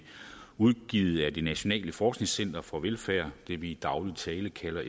udgivet af det nationale forskningscenter for velfærd det vi i daglig tale kalder